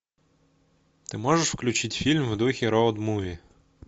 ты можешь включить фильм в духе роуд муви